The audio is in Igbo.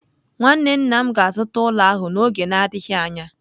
Nwanne nna m ga-azụta ụlọ ahụ n'oge na-adịghị anya.